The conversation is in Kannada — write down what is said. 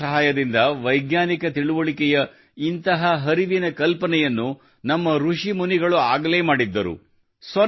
ಗಣಿತದ ಸಹಾಯದಿಂದ ವೈಜ್ಞಾನಿಕ ತಿಳಿವಳಿಕೆಯ ಇಂತಹ ಹರಿವಿನ ಕಲ್ಪನೆಯನ್ನು ನಮ್ಮ ಋಷಿಮುನಿಗಳು ಆಗಲೇ ಮಾಡಿದ್ದರು